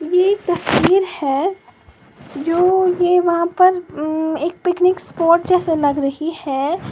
ये तस्वीर है जो ये वहां पर म् एक पिकनिक स्पोर्ट जैसे लग रही है।